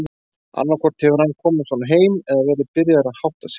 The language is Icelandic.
Annaðhvort hefur hann komið svona heim eða verið byrjaður að hátta sig.